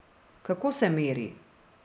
Kako se meri?